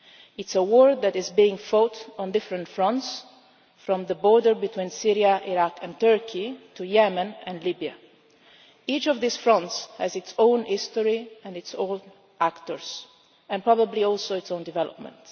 It is a war that is being fought on different fronts, from the border between Syria, Iraq and Turkey to Yemen and Libya. Each of these fronts has its own history and its own actors, and probably also its own development.